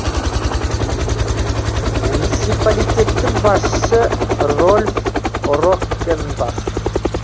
муниципалитеттің басшысы рольф роккенбах